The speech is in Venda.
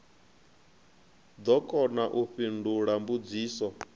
ḓo kona u fhindula mbudziso